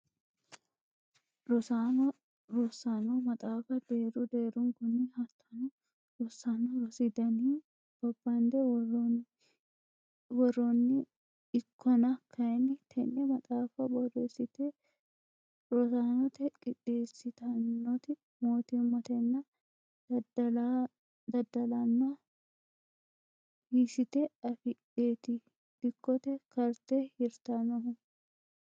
Rosaano rosano maxaafa deeru deerunkuni hattono rosano rosi daninni babbande woroni ikkonna kayinni tene maxaafa borreessite rosanote qixeessitanoti mootimmatenna daddallano hiisite affidheti dikkote karte hirtanohu.